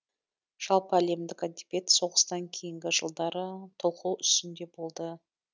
жалпы әлемдік әдебиет соғыстан кейінгі жылдары толқу үстінде болды